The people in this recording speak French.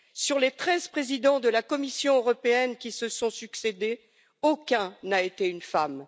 Sur les 13 présidents de la Commission européenne qui se sont succédé, aucun n'a été une femme.